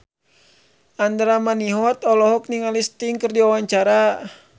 Andra Manihot olohok ningali Sting keur diwawancara